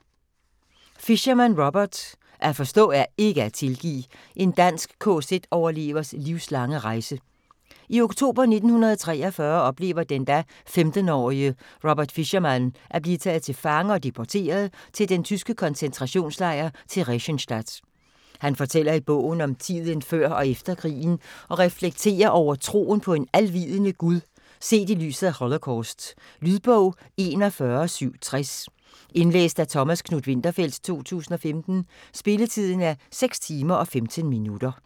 Fischermann, Robert: At forstå er ikke at tilgive: en dansk kz-overlevers livslange rejse I oktober 1943 oplever den da 15-årige Robert Fischermann at blive taget til fange og deporteret til den tyske koncentrationslejr Theresienstadt. Han fortæller i bogen om tiden før og efter krigen og reflekterer over troen på en alvidende Gud set i lyset af holocaust. Lydbog 41760 Indlæst af Thomas Knuth-Winterfeldt, 2015. Spilletid: 6 timer, 15 minutter.